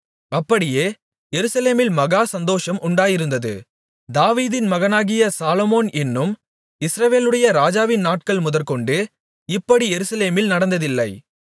அப்படியே எருசலேமில் மகா சந்தோஷம் உண்டாயிருந்தது தாவீதின் மகனாகிய சாலொமோன் என்னும் இஸ்ரவேலுடைய ராஜாவின் நாட்கள் முதற்கொண்டு இப்படி எருசலேமில் நடந்ததில்லை